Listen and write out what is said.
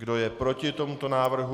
Kdo je proti tomuto návrhu?